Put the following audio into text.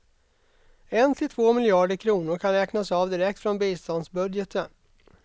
En till två miljarder kronor kan räknas av direkt från biståndsbudgeten.